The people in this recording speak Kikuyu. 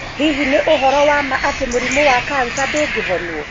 hi nĩ uhoro wa ma atĩ mũrimũ wa kansa ndũngihonwo?